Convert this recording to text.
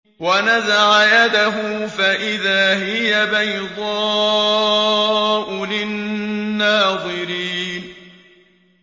وَنَزَعَ يَدَهُ فَإِذَا هِيَ بَيْضَاءُ لِلنَّاظِرِينَ